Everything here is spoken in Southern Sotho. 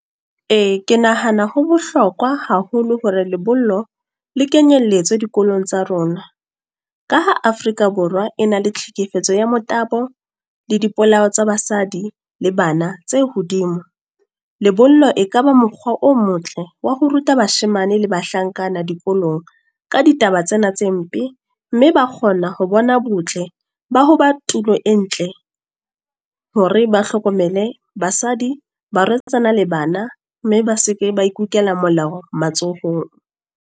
Ee, ke nahana ho bohlokwa haholo hore lebollo, le kenyelletswe dikolong tsa rona. Ka ha Afrika Borwa e na le tlhekefetso ya motabo, le dipolao tsa basadi le bana tse hodimo. Lebollo e kaba mokgwa o motle wa ho ruta bashemane le bahlankana dikolong, ka ditaba tsena tse mpe. Mme ba kgona ho bona bo botle ba ho ba tulo e ntle. Hore ba hlokomele, basadi, barwetsana, le bana. Mme ba seke ba ikukela molao matsohong.